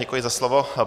Děkuji za slovo.